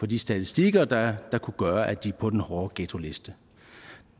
de statistikker der kunne gøre at de kom på den hårde ghettoliste